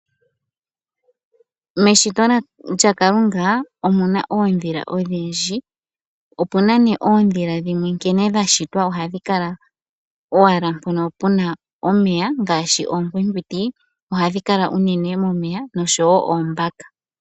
Meshito lya kalunga omuna oondhila odhindji. Opena nee oondhila dhimwe nkene dha shitwa ohadhi kala owala mpono pena omeya ngaashi oonkwinkwiti ohadhi kala unene momeya oshowo oombaka.